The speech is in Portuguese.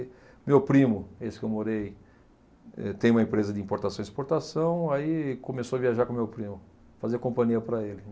Meu primo, esse que eu morei, eh tem uma empresa de importação e exportação, aí começou a viajar com meu primo, fazia companhia para ele.